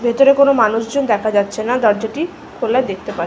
ভেতরে কোন মানুষ জন দেখা যাচ্ছে না দরজাটি খোলা দেখতে পা--